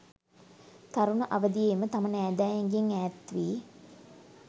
තරුණ අවදියේම තම නෑදෑයන්ගෙන් ඈත්වී